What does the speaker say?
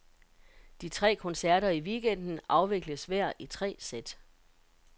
De tre koncerter i weekenden afvikles hver i tre sæt.